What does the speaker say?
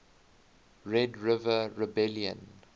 red river rebellion